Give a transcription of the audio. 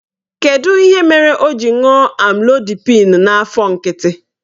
Kedụ ihe mere o ji ṅụọ Amlodipịn n'afọ nkịtị?